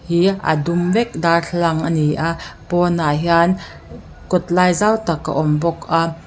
hi a dum vek darthlalang ani a pawnah hian kawt lai zau tak a awm bawk a.